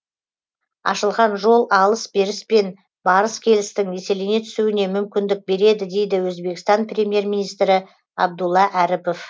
ашылған жол алыс беріс пен барыс келістің еселене түсуіне мүмкіндік береді дейді өзбекстан премьер министрі абдулла әріпов